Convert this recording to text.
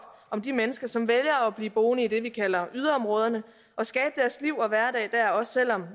om de mennesker som vælger at blive boende i det vi kalder yderområderne og skabe deres liv og hverdag der også selv om